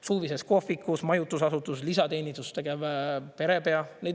Suvises kohvikus, majutusasutus lisateenistust tegev perepea.